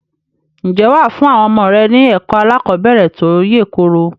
Ǹjẹ́ wà á fún àwọn ọmọ rẹ ní ẹ̀kọ́ aláàkọ́bẹ̀rẹ̀ tó yèkoro?